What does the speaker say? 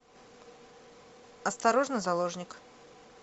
осторожно заложник